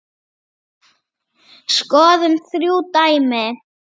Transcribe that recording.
Skoðum þrjú dæmi